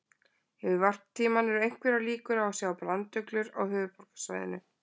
Yfir varptímann eru einhverjar líkur á að sjá branduglur á höfuðborgarsvæðinu.